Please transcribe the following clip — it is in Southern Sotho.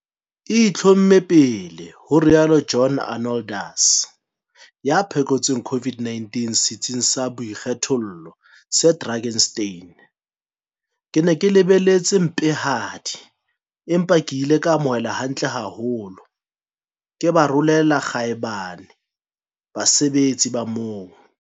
E itlhomme pele," ho rialo John Arnoldus, ya phekotsweng COVID-19 setsing sa boikgethollo se Drakenstein. "Ke ne ke lebeletse tse mpehadi, empa ke ile ka amohelwa hantle haholo. Ke ba rolela kgaebane basebetsi ba moo!